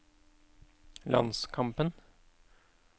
landskampen